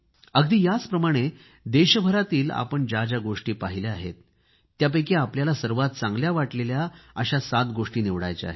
अगदी याचप्रमाणे देशभरामधील आपण ज्या ज्या गोष्ट पाहिल्या आहेत त्यापैकी आपल्याला सर्वात चांगल्या वाटलेल्या सात गोष्टी निवडायच्या आहेत